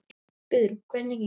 Guðrún: Hvernig gengur?